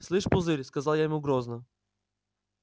слышь пузырь сказала я ему грозно